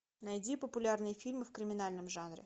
найди популярные фильмы в криминальном жанре